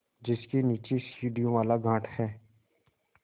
जिसके नीचे सीढ़ियों वाला घाट है